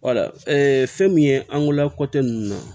wala fɛn min ye an gola kɔtɛ ninnu na